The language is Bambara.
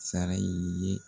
Sara i ye